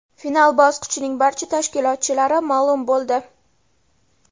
Final bosqichining barcha ishtirokchilari ma’lum bo‘ldi.